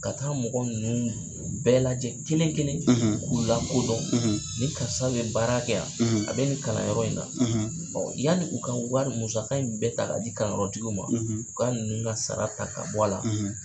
Ka taa mɔgɔ ninnuu bɛɛ lajɛn kelenkelen k'u la kodɔn ni karisa bɛ baara kɛ yan a bɛ nin kalanyɔrɔ in na ɔ yali u ka wari u ka musaka in bɛɛ ta k'a di kalanyɔrɔ tigiw ma u ka ninnu ka sara ta ka bɔ a la